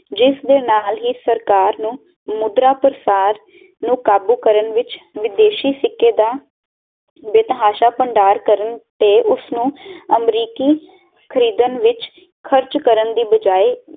ਜਿਸ ਦੇ ਨਾਲ ਹੀ ਸਰਕਾਰ ਨੂੰ ਮੁੰਦਰਾਂ ਪ੍ਰਸਾਰ ਨੂੰ ਕਾਬੂ ਕਰਨ ਵਿਚ ਵਿਦੇਸ਼ੀ ਸਿੱਕੇ ਦਾ ਤੇ ਉਸ ਨੂੰ ਬਰੀਕੀ ਖਰੀਦਣ ਵਿਚ ਖਰਚ ਕਰਨ ਦੀ ਬਜਾਏ